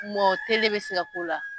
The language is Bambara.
Mɔ tele bɛ se ka k'o la?